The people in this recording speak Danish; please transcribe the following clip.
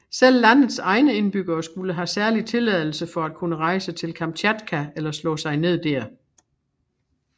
Selv landets egne indbyggere skulle have særlig tilladelse for at kunne rejse til Kamtjatka eller slå sig ned dér